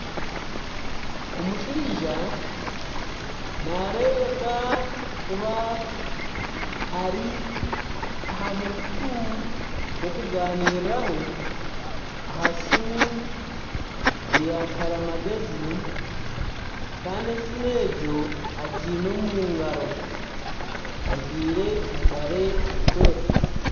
Omushaija naarebeka kuba ari aha mukutu gw'okuganiiriraho aha siimu eya karimagezi kandi esiimu egyo agiine omu ngaro, ajwire empare erikwera